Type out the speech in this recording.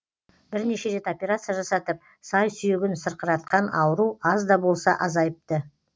бірнеше рет операция жасатып сай сүйегін сырқыратқан ауру аз да болса азайыпты